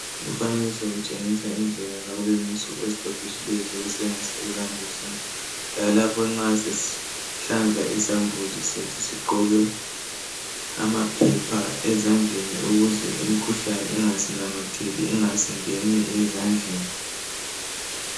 Umfanekiso utshengisa indlela zakulezinsuku eziqeqetshileyo zokusebenzisa ezambuzini lapho nxa sesihlanza izambuzi zethu sigqokoe amaphepha ezandleni ukuze imikhuhlane ingasinamatheli ingasingeni ezandleni